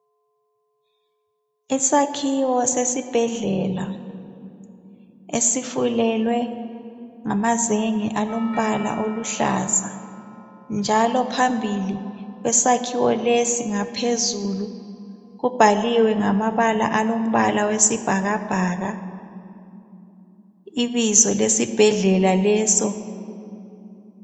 Isakhiwo sesibhedlela esifulelwe ngamazenge alombala oluhlaza. Njalo phambili kwesakhiwo lesi ngaphezulu. kubhaliwe ngamabala alombala wesibhakabhaka ibizo lesibhedlela leso .